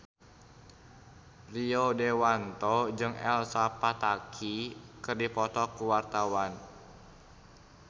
Rio Dewanto jeung Elsa Pataky keur dipoto ku wartawan